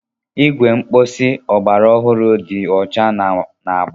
Igwe mposi ọgbara ọhụrụ dị ọcha na agba.